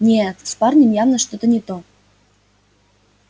нет с парнем явно что-то не то